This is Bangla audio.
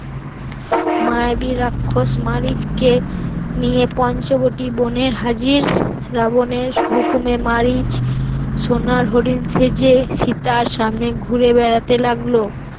মায়াবী রাক্ষস মারিচ কে নিয়ে পঞ্চবটি বনে হাজির, রাবণের হুকুমে মারিচ সোনার হরিণ সেজে সীতার সামনে ঘুরে বেড়াতে লাগলো